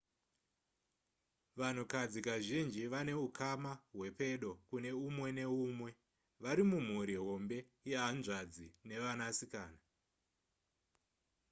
vanhukadzi kazhinji vanehukama hwepedo kune umwe neumwe vari mumhuri hombe yehanzvadzi nevanasikana